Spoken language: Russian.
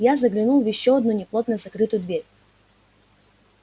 я заглянул в ещё одну неплотно закрытую дверь